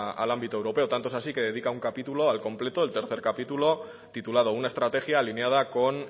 al ámbito europeo tanto es así que dedica un capítulo en completo el tercero capítulo titulado una estrategia alineada con